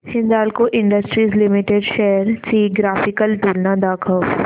Hindalco industries limited shares ची graphical तुलना दाखव